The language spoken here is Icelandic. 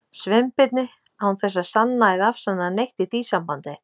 Sveinbirni, án þess að sanna eða afsanna neitt í því sambandi.